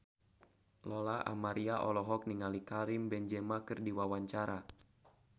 Lola Amaria olohok ningali Karim Benzema keur diwawancara